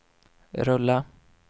rulla